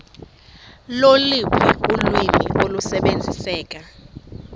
loluphi ulwimi olusebenziseka